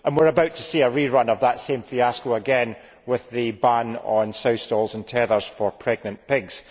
We are about to see a rerun of that same fiasco again with the ban on sow stalls and tethers for pregnant pigs.